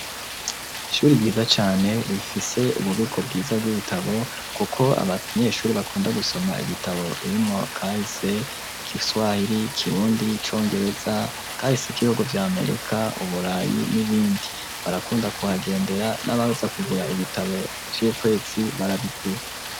Ishure ryiza cane rifise ububiko bwiza bw'ibitabo kuko abanyeshure bakunda gusoma ibitabo birimwo kahise ,kiswahiri, kirundi ,icongereza kahise k'ibihugo vy'Amerika ,uburayi n'ibindi barakunda kuhagendera nabaza kugura ibitabo vy'ukwezi barabigura